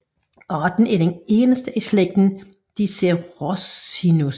Arten er den eneste i slægten Dicerorhinus